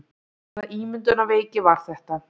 Hvaða ímyndunarveiki var þetta?